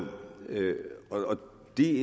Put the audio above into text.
vi